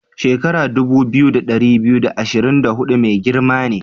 Shekaran dubu biyu, da ɗari biyu da ashirin da hudu mai girma ne.